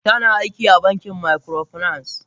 Tana aiki a bankin microfinance.